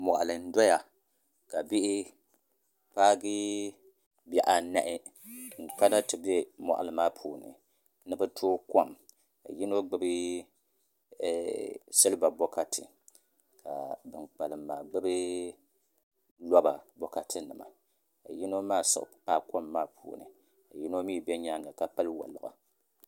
Moɣali n doya ka bihi paagi bihi anahi n kana ti bɛ moɣali maa puuni ni bi tooi kom ka yino gbubi silba bokati ka bin kpalim maa gbubi roba bokati nima yino maa siɣila kom maa puuni ka yino mii bɛ nyaanga ka pili woliɣi